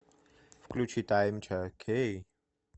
включи таймча кей